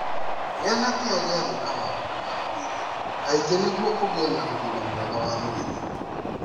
Gĩa na kĩyo gĩa gwĩka maũndũ ma mwĩrĩ kaingĩ nĩguo ũgĩe na ũgima mwega wa mwĩrĩ.